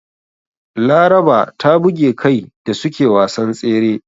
Laraba ta buge kai da suke wasan tsere.